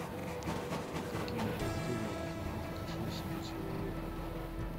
какие бактерии живут в кишечнике человека